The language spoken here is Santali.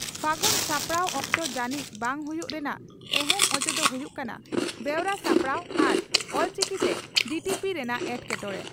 ᱯᱷᱟᱹᱜᱩᱱ ᱥᱟᱯᱲᱟᱣ ᱚᱠᱛᱚ ᱡᱟᱹᱱᱤᱡ ᱵᱟᱝ ᱦᱩᱭᱩᱜ ᱨᱮᱱᱟᱜ ᱮᱦᱮᱢ ᱚᱡᱮ ᱫᱚ ᱦᱩᱭᱩᱜ ᱠᱟᱱᱟ ᱵᱮᱣᱨᱟ ᱥᱟᱯᱲᱟᱣ ᱟᱨ ᱚᱞᱪᱤᱠᱤᱛᱮ ᱰᱤᱴᱤᱯᱤ ᱨᱮᱱᱟᱜ ᱮᱴᱠᱮᱴᱚᱬᱮ ᱾